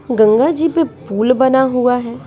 गंगा जी पे पुल बना हुआ है।